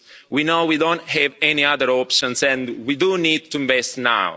We know we don't have any other options and we do need to invest now.